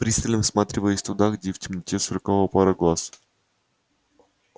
пристально всматриваясь туда где в темноте сверкала пара глаз